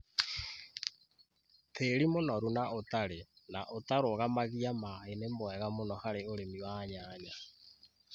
tĩĩri mũnoru na ũtarĩ na ũtarũgamagia maĩ nĩ mwega mũno harĩ ũrĩmi wa nyanya.